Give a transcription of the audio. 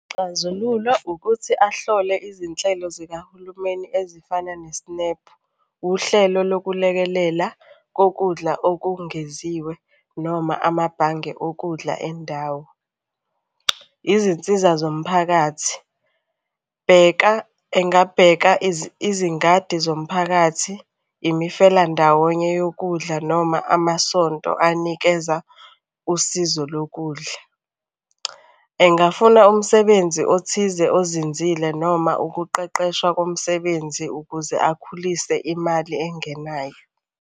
Isixazululo ukuthi ahlole izinhlelo zikahulumeni ezifana ne-SNAP. Uhlelo lokulekelela kokudla okungeziwe noma amabhange okudla endawo. Izinsiza zomphakathi. Bheka, engabheka izingadi zomphakathi, imifelandawonye yokudla noma amasonto anikeza usizo lokudla. Engafuna umsebenzi othize ozinzile noma ukuqeqeshwa komsebenzi ukuze akhulise imali engenayo.